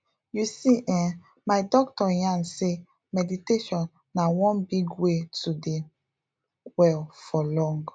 you see eh my doctor yarn sey meditation na one big way to dey well for long